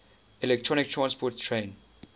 electron transport chain